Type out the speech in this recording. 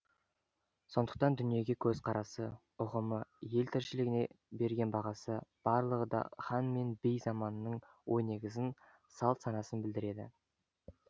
сондықтан дүниеге көзқарасы ұғымы ел тіршілігіне берген бағасы барлығы да хан мен би заманының ой негізін салт санасын білдіреді